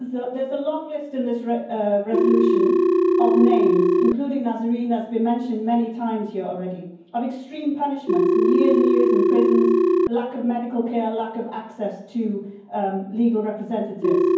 There is a long list in this resolution of names, including Nazanin, as has been mentioned many times here already, of extreme punishments, of years and years in prisons, lack of medical care and lack of access to legal representatives.